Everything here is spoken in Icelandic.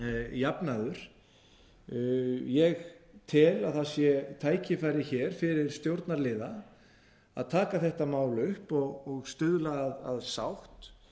jafnaður ég tel að það sé tækifæri hér fyrir stjórnarliða að taka þetta mál upp og stuðla að sátt